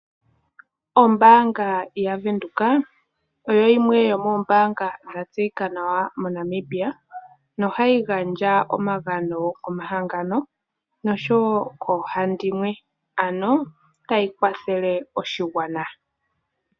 Ombaanga yaVenduka oyo yimwe yomoombaanga dha tseyika nawa moNamibia, nohayi gandja omagano komahangano, nosho wo koohandimwe, ano tayi kwathele oshigwana.